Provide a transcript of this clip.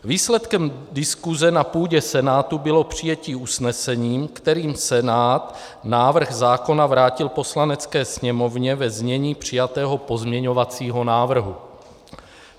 Výsledkem diskuse na půdě Senátu bylo přijetí usnesení, kterým Senát návrh zákona vrátil Poslanecké sněmovně ve znění přijatého pozměňovacího návrhu.